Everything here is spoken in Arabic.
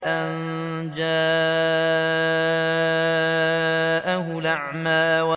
أَن جَاءَهُ الْأَعْمَىٰ